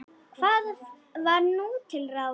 Hvað var nú til ráða?